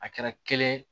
A kɛra kelen ye